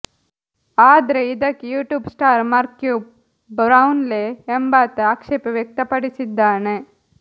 ಆದ್ರೆ ಇದಕ್ಕೆ YouTube star Marques Brownlee ಎಂಬಾತ ಆಕ್ಷೇಪ ವ್ಯಕ್ತಪಡಿಸಿದ್ದಾನೆ